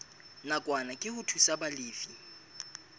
nakwana ke ho thusa balefi